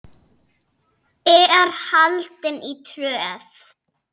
er haldin í Tröð.